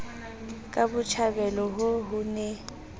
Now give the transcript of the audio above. ka botjhabela ho ho ne